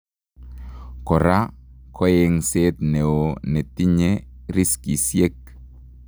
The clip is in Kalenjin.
Koraa koeng'seet neoo netinye riskisiek